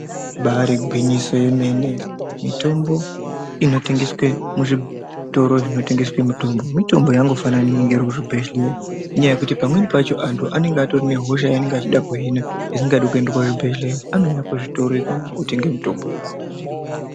Ibari igwinyoso yemene mitombo inotengeswa muzvitoro zvinotengesa mitombo mitombo yakangofanana neinonga iri kuzvibhehlera nekuti pamweni pacho antu anenge anehosha aanenge achida kuhina asingadi kuenda kuchibhedhleya anonyorerwa kuzvitoro ikonayo ontorerwa mitombo yavo.